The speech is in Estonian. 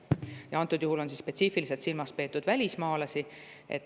Antud juhul on spetsiifiliselt silmas peetud välismaalasi.